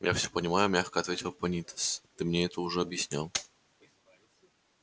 я всё понимаю мягко ответил пониетс ты мне это уже объяснял однажды